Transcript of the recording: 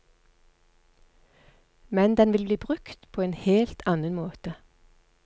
Men den vil bli brukt på en helt annen måte.